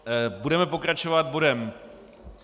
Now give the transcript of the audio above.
Budeme pokračovat bodem